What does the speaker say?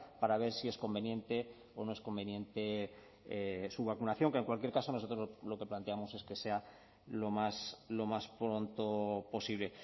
para ver si es conveniente o no es conveniente su vacunación que en cualquier caso nosotros lo que planteamos es que sea lo más lo más pronto posible